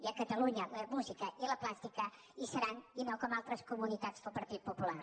i a catalunya la música i la plàstica hi seran i no com a altres comunitats del partit popular